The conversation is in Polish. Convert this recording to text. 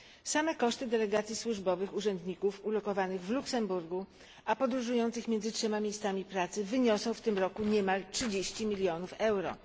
Same koszty delegacji służbowych urzędników ulokowanych w Luksemburgu a podróżujących między trzema miejscami pracy wyniosą w tym roku niemal 30 mln euro.